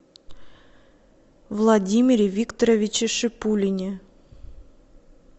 владимире викторовиче шипулине